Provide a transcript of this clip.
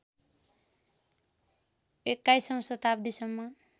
२१ औँ शताब्दीसम्म